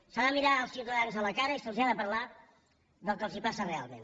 s’ha de mirar els ciutadans a la cara i se’ls ha de parlar del que els passa realment